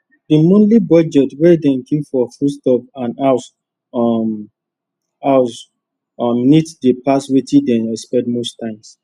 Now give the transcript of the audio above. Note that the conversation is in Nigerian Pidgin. the monthly budget wey dem keep for foodstuff and house um house um needs dey pass wetin dem expect most times